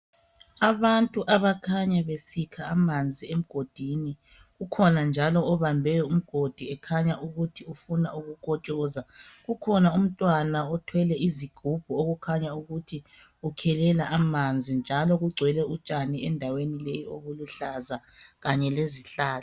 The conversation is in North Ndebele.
Abantu abakhanya besikha amanzi emgodini. Kukhona njalo obambe umgodi kukhanya efuna ukukotshoza. Kukhona umntwana othwele izigubhu. Okukhanya ukuthi ukhelela amanzi. Njalo kugcwele utshani endaweni leyi obuluhlaza kunye lezihlahla.